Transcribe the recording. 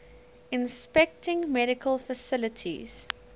inspecting medical facilities